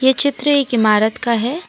ये चित्र एक इमारत का है।